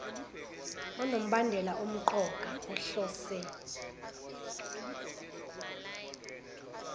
onombandela omqoka ohlose